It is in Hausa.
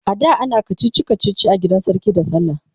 ada anayin kachichi kachichi a gidan sarki da sallah